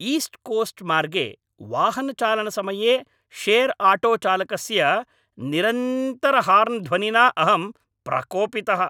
East Coast मार्गे वाहनचालनसमये share आटोचालकस्य निरन्तरहार्न् ध्वनिना अहं प्रकोपितः।